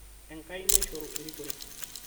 Enkai naishoru erikore